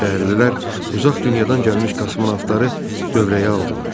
Şəhərlilər uzaq dünyadan gəlmiş kosmonavtları dövrəyə aldılar.